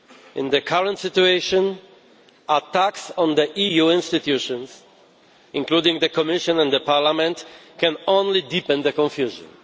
In the current situation, attacks on the EU institutions, including the Commission and Parliament, can only deepen the confusion.